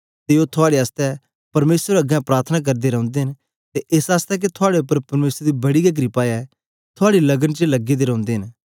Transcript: ते ओ थुआड़े आसतै परमेसर अगें प्रार्थना करदे रौंदे न ते एस आसतै के थुआड़े उपर परमेसर दी बडी गै क्रपा ऐ थुआड़ी लगन च लगे दे रौंदे न